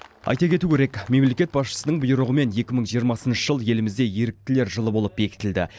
айта кету керек мемлекет басшысының бұйрығымен екі мың жиырмасыншы жыл елімізде еріктілер жылы болып бекітілді